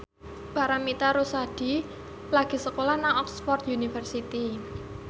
Paramitha Rusady lagi sekolah nang Oxford university